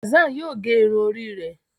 Hassan yíò gé Irun Orí rẹ.